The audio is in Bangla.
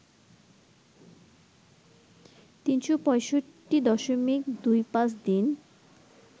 ৩৬৫.২৫ দিন